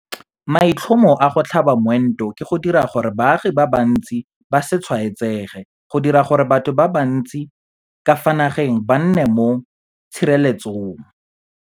Maitlhomo a go tlhaba moento ke go dira gore baagi ba bantsi ba se tshwaetsege - go dira gore batho ba bantsi ka fa nageng ba nne mo tshireletse